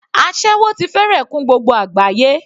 Aséwó ti fẹ́rẹ̀ kún gbogbo àgbáyé.